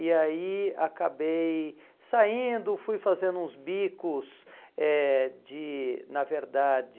E aí acabei saindo, fui fazendo uns bicos eh de, na verdade...